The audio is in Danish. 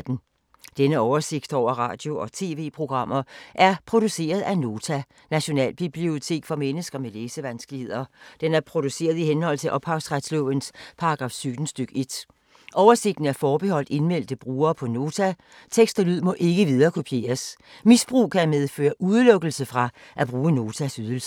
Denne oversigt over radio og TV-programmer er produceret af Nota, Nationalbibliotek for mennesker med læsevanskeligheder. Den er produceret i henhold til ophavsretslovens paragraf 17 stk. 1. Oversigten er forbeholdt indmeldte brugere på Nota. Tekst og lyd må ikke viderekopieres. Misbrug kan medføre udelukkelse fra at bruge Notas ydelser.